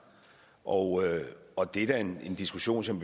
og og det er da en diskussion som